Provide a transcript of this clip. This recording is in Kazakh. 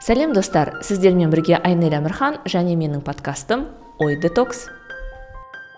сәлем достар сіздермен бірге айнель әмірхан және менің подкастым ой детокс